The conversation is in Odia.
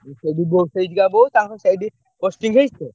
ସେଇଠି ବୋ~ ସେଇଠିକା ବୋହୁ ତାଙ୍କ ସେଇଠି ତାଙ୍କ ସେଇଠି posting ହେଇଚି ତ।